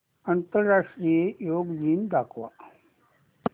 आंतरराष्ट्रीय योग दिन दाखव